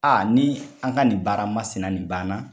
Aa ni an ka nin baara masina nin banna